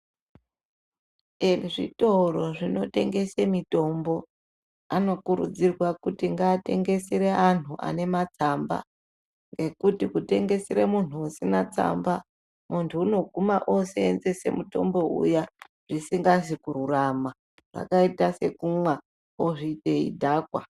Ezvitoro zvinotengese mitombo anokurudzirwa kuti ngaatengesere anhu ane matsamba ngekuti kutengesere munhu usina tsamba unoguma munhu unoguma oosenzese mutombo uya zvisingazi kururama zvakata sekumwa ozvi eidhakwa.